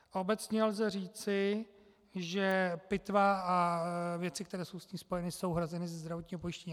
Obecně lze říci, že pitva a věci, které jsou s tím spojeny, jsou hrazeny ze zdravotního pojištění.